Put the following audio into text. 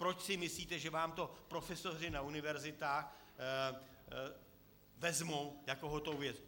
Proč si myslíte, že vám to profesoři na univerzitách vezmou jako hotovou věc?